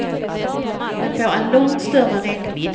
Den får en långt större räckvidd.